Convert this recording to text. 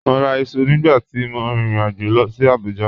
Mọ́ rà ìṣu nígbà tí mọ̀ ríin ìrìn-àjọ̀ lọ sí Abuja